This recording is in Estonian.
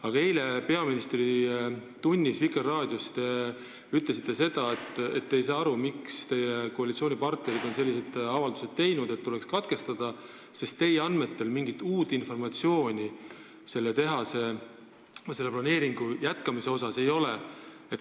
Aga eile te ütlesite Vikerraadio saates "Peaministri tund" seda, et te ei saa aru, miks teie koalitsioonipartnerid on selliseid avaldusi teinud, et see tuleks katkestada, sest teie andmetel mingit uut informatsiooni tehase planeeringu jätkamise kohta ei ole.